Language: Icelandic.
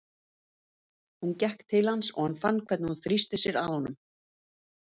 Hún gekk til hans og hann fann hvernig hún þrýsti sér að honum.